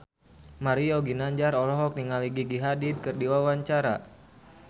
Mario Ginanjar olohok ningali Gigi Hadid keur diwawancara